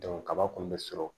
kaba kɔni bɛ sɔrɔ